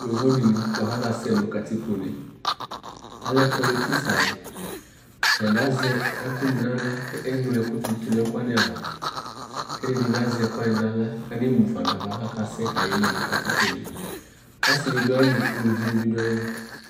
Yovo dɩnɩ bʋa kʋ akasɛ nʋ katikpone, alɛ politis alʋ Atanɩ azɛ ɛkʋnɩ nʋ aɣla kʋ eŋlo ɛkʋ dɩ dʋ nʋ ɛkʋ wanɩ ava kʋ ɛdɩnɩ bɩ azɛ ɛkʋ wanɩ aɣla kʋ anemu fa nʋ ava kʋ akasɛ kʋ ayeli nʋ katikpone Ɔsɩnɩ dʋ ayili, uluvinɩ bɩ dʋ ayili